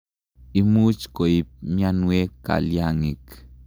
Imuch koip mianwek kalyang'ik.